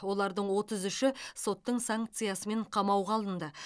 олардың отыз үші соттың санкциясымен қамауға алынды